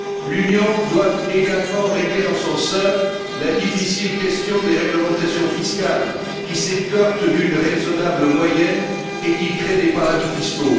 L'Union doit également régler en son sein la difficile question des réglementations fiscales qui s'écartent d'une raisonnable moyenne et qui créent des paradis fiscaux.